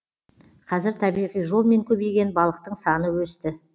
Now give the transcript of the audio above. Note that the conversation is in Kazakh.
қазір табиғи жолмен көбейген балықтың саны өсті